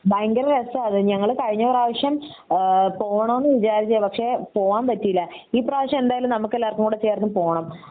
ഭയങ്കര രസാണ് ഞങ്ങൾ കഴിഞ്ഞ പ്രാവിശ്യം ആഹ് പോണോന്ന് വിചാരിച്ചതാ പക്ഷെ പോവാൻ പറ്റിയില്ല ഈ പ്രാവിശ്യം എന്തായാലും നമുക്ക് എല്ലാവര്ക്കും കൂടെ ചേർന്ന് പോണം